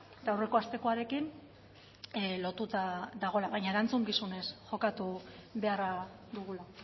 eta aurreko astekoarekin lotuta dagoela baina erantzukizunez jokatu beharra dugula